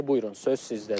Buyurun, söz sizdədir.